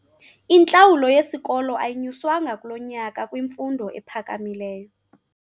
Intlawulo yesikolo ayinyuswanga kulo nyaka kwimfundo ephakamileyo.